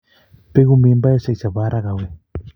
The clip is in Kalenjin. Bekuu mimbaishe che bo Haraka awee?